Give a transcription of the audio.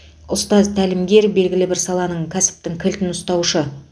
ұстаз тәлімгер белгілі бір саланың кәсіптің кілтін ұстаушы